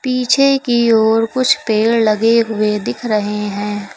पीछे की और कुछ पेड़ लगे हुए दिख रहे हैं।